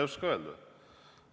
Ma ei oska öelda.